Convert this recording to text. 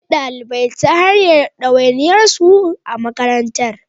Malamai, ku jagoranci ɗalibai ta hanyar ɗawainiyarsu a makarantar.